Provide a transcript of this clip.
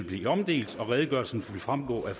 blive omdelt og redegørelsen vil fremgå af